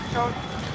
Təkər düşür.